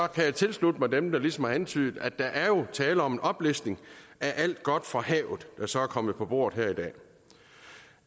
kan tilslutte mig dem der ligesom har antydet at der jo er tale om en oplistning af alt godt fra havet der så er kommet på bordet her i dag